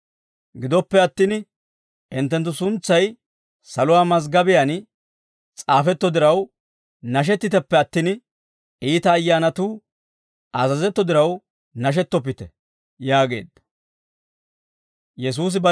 Gidoppe attin hinttenttu suntsay saluwaa maziggobiyaan s'aafetto diraw, nashettiteppe attin iita ayyaanatuu azazetto diraw nashettoppite» yaageedda. Sogguwaa